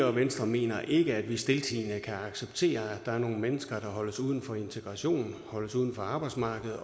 og venstre mener ikke at vi stiltiende kan acceptere at der er nogle mennesker der holdes uden for integration og holdes uden for arbejdsmarkedet